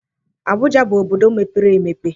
Abụja bụ obodo mepere emepe